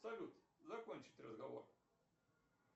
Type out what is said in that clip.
салют закончить разговор